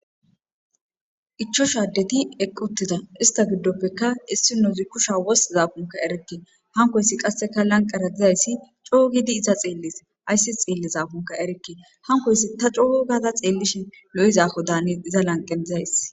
ichosha addeti eqquttida ista giddoppeka issinozi kusha wothizaakonka erekke hankoyssi qasseka lanqara dizayssi coo gidi iza xeelles ayssi xeellizaakonka erekke hankoysi ta coo gada xeellishi lo7iza afodaane iza lanqe days.